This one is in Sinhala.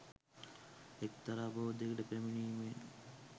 එක්තරා බෝධියකට පැමිණීමෙන්